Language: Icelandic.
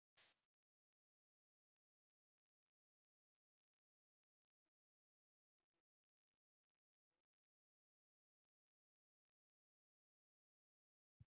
En eru Selfyssingar tilbúnir fyrir Landsbankadeildina ef að kallið kæmi?